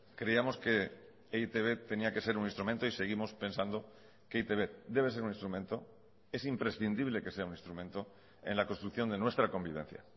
creíamos que e i te be tenía que ser un instrumento y seguimos pensando que e i te be debe ser un instrumento es imprescindible que sea un instrumento en la construcción de nuestra convivencia